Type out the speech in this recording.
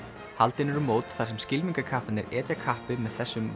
haldin eru mót þar sem etja kappi með þessum